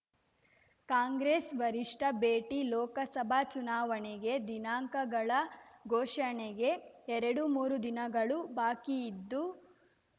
ಕಾಂಗ್ರೆಸ್ ವರಿಷ್ಠ ಭೇಟಿ ಲೋಕಸಭಾ ಚುನಾವಣೆಗೆ ದಿನಾಂಕಗಳ ಘೋಷಣೆಗೆ ಎರಡುಮೂರು ದಿನಗಳು ಬಾಕಿಯಿದ್ದು